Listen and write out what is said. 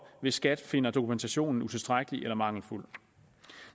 hvis skat finder dokumentationen utilstrækkelig eller mangelfuld